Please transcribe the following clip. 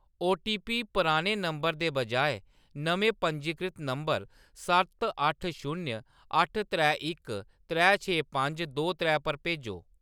OTP पुराने number दे बजाए नमें पंजीकृत नंबर सत्त अट्ठ शून्य अट्ठ त्रै इक त्रै छे पंज दो त्रै पर भेजो।